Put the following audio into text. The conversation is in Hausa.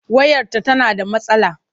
Wayarta tana da matsala.